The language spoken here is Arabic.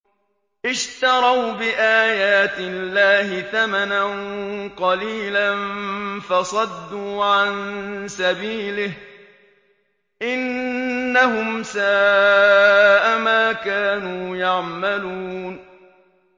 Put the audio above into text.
اشْتَرَوْا بِآيَاتِ اللَّهِ ثَمَنًا قَلِيلًا فَصَدُّوا عَن سَبِيلِهِ ۚ إِنَّهُمْ سَاءَ مَا كَانُوا يَعْمَلُونَ